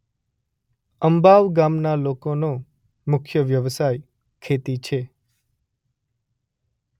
અંબાવ ગામના લોકોનો મુખ્ય વ્યવસાય ખેતી છે.